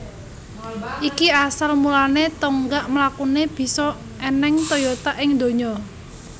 Iki asal mulane tonggak mlakune bisa eneng Toyota ing dunya